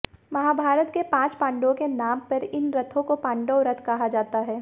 महाभारत के पांच पांडवों के नाम पर इन रथों को पांडव रथ कहा जाता है